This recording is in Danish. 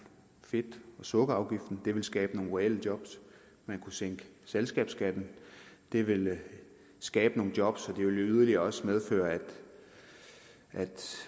fedt og sukkerafgifterne det ville skabe nogle reelle job man kunne sænke selskabsskatten det ville skabe nogle job ville yderligere medføre at